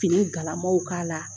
Fini galamaw k'a la